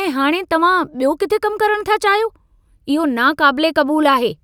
ऐं हाणे तव्हां बि॒यो किथे कमु करणु था चाहियो! इहो नाक़ाबिले क़बूलु आहे!